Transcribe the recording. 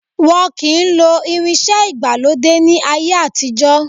Wọn kì í lo irinsẹ́ ìgbàlódé ni ayé àtijọ́.